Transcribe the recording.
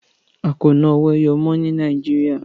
A kò ná owó ẹyọ mọ́ ní Nàìjíríà.